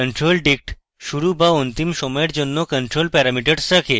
controldict শুরু / অন্তিম সময়ের জন্য control parameters রাখে